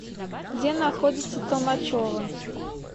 где находится толмачево